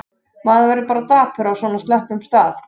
Maður verður bara dapur á svona slöppum stað.